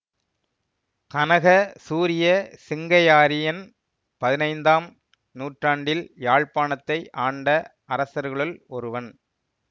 கனகசூரிய சிங்கையாரியன் பதினைந்தாம் நூற்றாண்டில் யாழ்ப்பாணத்தை ஆண்ட அரசர்களுள் ஒருவன்